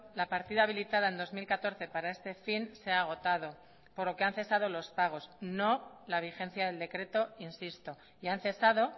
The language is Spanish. la partida habilitada en dos mil catorce para este fin se ha agotado por lo que han cesado los pagos no la vigencia del decreto insisto y han cesado